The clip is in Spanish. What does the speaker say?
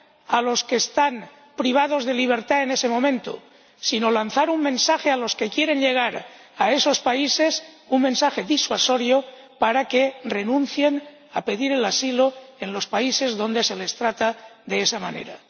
a los que están privados de libertad en ese momento, sino lanzar un mensaje a los que quieren llegar a esos países, un mensaje disuasorio para que renuncien a pedir el asilo en los países donde se les trata de esa manera.